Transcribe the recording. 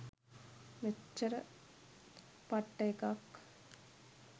මෙච්චර පට්ට එකක්